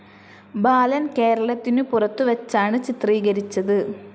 ബാലൻ കേരളത്തിനു പുറത്തുവെച്ചാണ് ചിത്രീകരിച്ചത്.